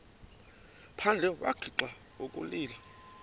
phandle wagixa ukulila